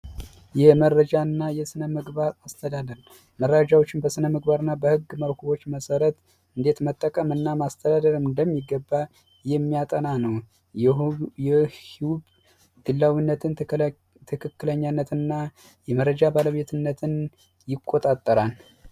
የመረጃና የስነ ምግባር አስተዳደር መረጃዎችን በስነምግባር እና በህግ መልኩዎች መሠረት እንዴት መጠቀምና ማስተዳደር እንደሚገባ የሚያጠና ነው። ይህም ግላዊ ትክክለኛነትንና የመረጃ ባለቤትነትን ይቆጣጠራል።